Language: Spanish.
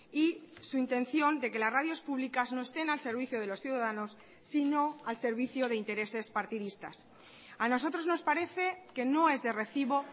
y su intención de que las radios públicas no estén al servicio de los ciudadanos sino al servicio de intereses partidistas a nosotros nos parece que no es de recibo